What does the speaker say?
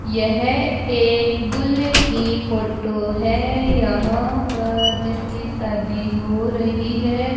यह एक दूल्हे की फोटो है यहां पर जिसकी शादी हो रही है।